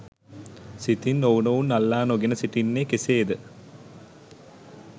සිතින් ඔවුනොවුන් අල්ලා නොගෙන සිටින්නේ කෙසේද?